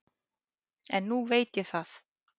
En nú veit ég það.